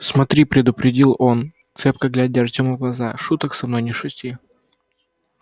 смотри предупредил он цепко глядя артёму в глаза шуток со мной не шути